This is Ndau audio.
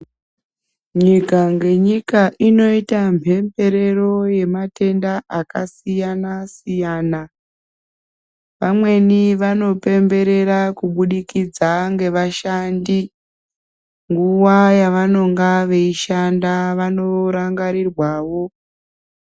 Nyika ngengika inoita mhemberero yematenda akasiyana siyana. Vamweni vanopemberera kubudikidza ngevashandi. Nguva yavanenge veishanda vanorangarirwawo.